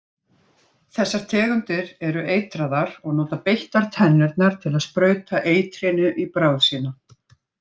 Þessar tegundir eru eitraðar og nota beittar tennurnar til að sprauta eitrinu í bráð sína.